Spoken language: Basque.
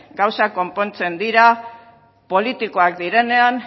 gauzak konpontzen dira politikoak direnean